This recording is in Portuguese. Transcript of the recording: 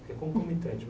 Porque é concomitante.